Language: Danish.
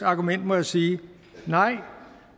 argument må jeg sige nej